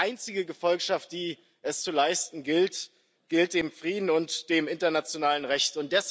Die einzige Gefolgschaft, die es zu leisten gilt, gilt dem Frieden und dem internationalen Recht.